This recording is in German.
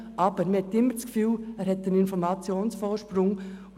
Aber man hat immer den Eindruck, dass diese Person einen Informationsvorsprung hat.